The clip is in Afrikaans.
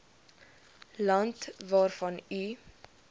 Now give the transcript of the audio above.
land waarvan u